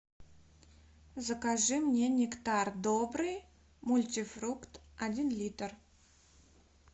закажи мне нектар добрый мультифрукт один литр